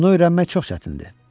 Bunu öyrənmək çox çətindir.